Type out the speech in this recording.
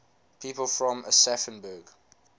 people from aschaffenburg